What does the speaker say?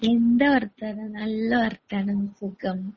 എന്താ വർത്തമാനം നല്ല വർത്തമാനം സുഖം.